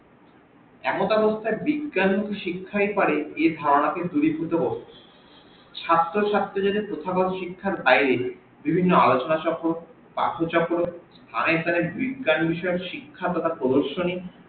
এখন মধ্যে বলতে বিজ্ঞান শিক্ষাই পারে এর ধারণাকে দুরি ভুত ছাত্র ছাত্রিদের প্রথাগত শিক্ষার বাইরে বিভিন্ন আলচনা চক্র পাঠ চক্র স্থানে স্থানে বিজ্ঞান বিষয়ে শিক্ষা তথা প্রদর্শনী